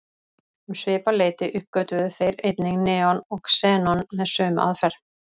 Um svipað leyti uppgötvuðu þeir einnig neon og xenon með sömu aðferð.